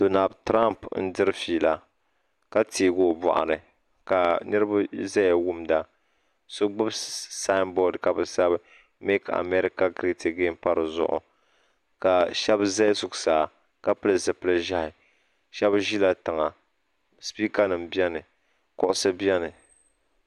Donal tirompi n diri fiila ka teegi o boɣuni ka niriba zaya wumda so gbini samboori ka bɛ sabi mek amarika giret agen pa di zuɣu ka sheba za zuɣusaa ka pili zipil'ʒehi sheba ʒila tiŋa sipiika nima biɛni kuɣusi niɛni.